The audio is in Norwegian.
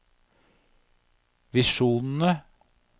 visjonene